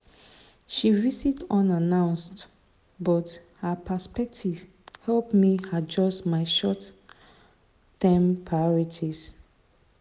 she visit unannounced but her perspective help me adjust my short-term priorities.